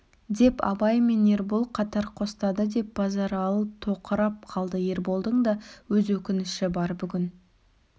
деп абай мен ербол қатар қостады деп базаралы тоқырап қалды ерболдың да өз өкініші бар бүгін